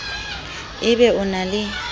e be o na le